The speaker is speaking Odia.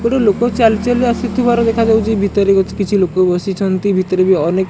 ଗୋଟେ ଲୋକ ଚାଲି ଚାଲି ଆସୁଥିବାରୁ ଦେଖାଯାଉଚି ଭିତରେ ବି କିଛି ଲୋକ ବସିଛନ୍ତି ଭିତରେ ଅନେକ।